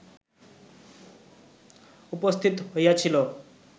উপস্থিত হইয়াছিল